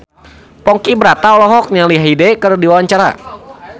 Ponky Brata olohok ningali Hyde keur diwawancara